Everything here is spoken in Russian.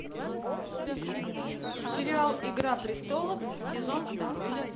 сериал игра престолов сезон второй